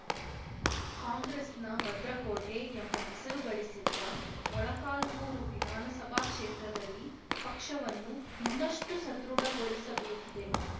ಕಾಂಗ್ರೆಸ್‌ನ ಭದ್ರಕೋಟೆ ಎಂಬ ಹೆಸರು ಗಳಿಸಿದ್ದ ಮೊಳಕಾಲ್ಮುರು ವಿಧಾನ ಸಭಾ ಕ್ಷೇತ್ರದಲ್ಲಿ ಪಕ್ಷವನ್ನು ಇನ್ನಷ್ಟುಸದೃಢಗೊಳಿಸಬೇಕಿದೆ